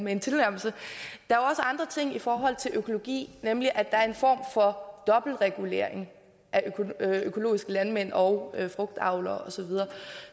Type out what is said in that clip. med en tilnærmelse i forhold til økologi nemlig at der er en form for dobbeltregulering af økologiske landmænd og frugtavlere og så videre